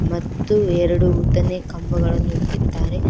ಮತ್ತು ಎರಡು ಉದ್ದನೆ ಕಂಬಗಳನ್ನು ಇಟ್ಟಿದ್ದಾರೆ.